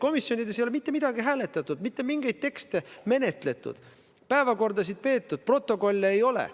Komisjonides ei ole mitte midagi hääletatud, mitte mingeid tekste menetletud, päevakordasid läbitud, protokolle ei ole.